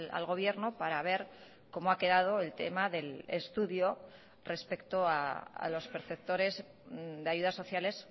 al gobierno para ver cómo ha quedado el tema del estudio respecto a los perceptores de ayudas sociales